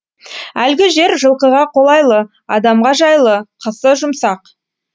әлгі жер жылқыға қолайлы адамға жайлы қысы жұмсақ